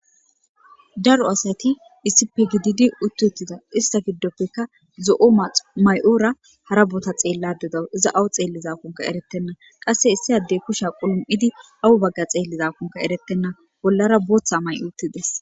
aro asati issippe gididi utti uttida ista giddoppekka zo7o may7oora hara bota xeella dedawu iza awu xeelli zakunka eretenna qasse issi addey kusha qulum7idi awu bagga xeellizakunka erettenna bollara booththa may7o uttides.